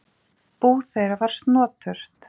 Bú þeirra var snoturt.